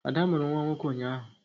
Ada mụrụ nwa nwoke ụnyaahụ